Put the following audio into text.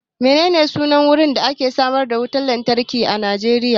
Menene sunan wajen da ake samar da wutan lantarkin Nijeriya?